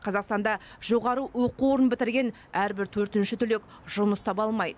қазақстанда жоғары оқу орнын бітірген әрбір төртінші түлек жұмыс таба алмайды